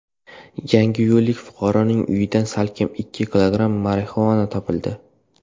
Yangiyo‘llik fuqaroning uyidan salkam ikki kilogramm marixuana topildi.